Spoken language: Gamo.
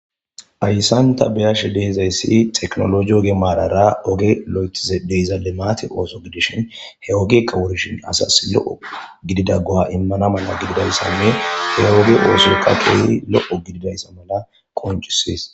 Hayssan ta beashshe deizayssi tekkinollojje ogge maarara oggey lo'eththishe deizza liimmatte oththo giddishin he oggeykka wuurishin asasi lo'o giddida go'a immana maala giddidayssanne he ogge ossoykka kehi lo'o giddida maala qonccisess.